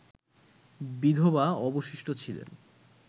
বিধবা অবশিষ্ট ছিলেন